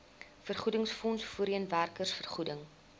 vergoedingsfonds voorheen werkersvergoeding